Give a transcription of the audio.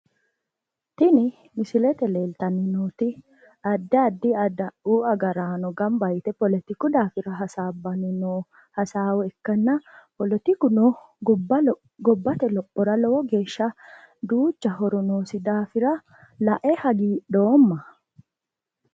Tini misilete leeltanni nooti addi addi adawu agaraano gamba yite poletiku daafira hasaabbanni noo hasaawa ikkanna polotikuno gobbate lophora lowo geeshsha duucha horo noosi daafira lae hagiidhoomma.